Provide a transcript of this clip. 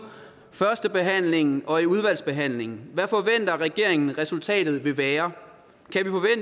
førstebehandlingen og i udvalgsbehandlingen hvad forventer regeringen at resultatet vil være